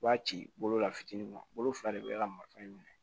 I b'a ci bolola fitinin kɔlo fila de be ka maka minɛ